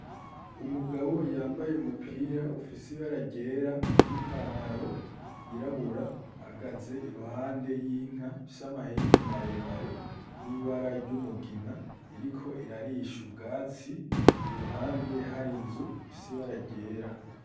Umugabo yambaye umupira ufise ibara ryera n'ipantaro yirabura, ahagaze iruhande y'inka ifise amahembe maremare n'ibara ry'umugina, iriko irarisha ubwatsi iruhande hari inzu ifise ibara ryera.